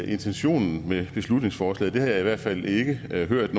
intentionen med beslutningsforslaget det har jeg i hvert fald ikke hørt